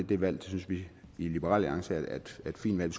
det valg synes vi i liberal alliance er et fint valg